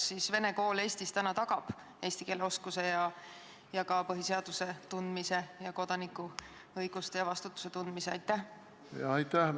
Kas siis vene kool Eestis tagab praegu eesti keele oskuse ja ka põhiseaduse ning kodanikuõiguste ja -vastutuse tundmise?